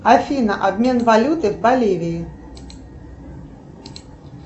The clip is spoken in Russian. афина обмен валюты в боливии